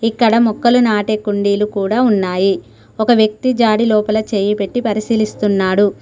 ఇక్కడ మొక్కలు నాటే కుండీలు కూడా ఉన్నాయి ఒక వ్యక్తి జాడి లోపల చేయి పెట్టి పరిశీలిస్తున్నాడు.